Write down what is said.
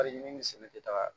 tɛ taga